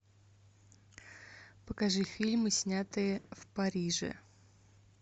покажи фильмы снятые в париже